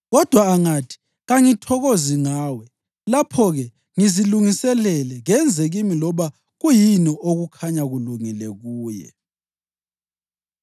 Kodwa angathi, ‘Kangithokozi ngawe,’ lapho-ke ngizilungisele; kenze kimi loba kuyini okukhanya kulungile kuye.”